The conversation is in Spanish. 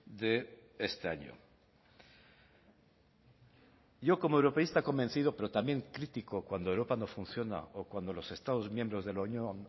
de este año yo como europeísta convencido pero también crítico cuando europa no funciona o cuando los estados miembros de la unión